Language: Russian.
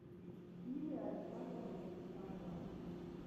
филия александровна чепушканова